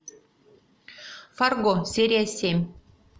фарго серия семь